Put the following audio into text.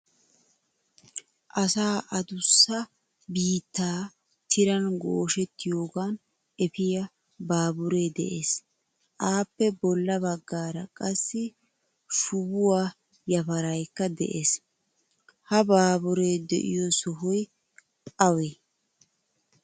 Asaa addussa biittaa tiran gooshetiyogan efiyaa baabure de'ees. Appe bolla baggaara qassi shubuwaa yafaraykka de'ees. Ha babure de'iyo sohoy awe?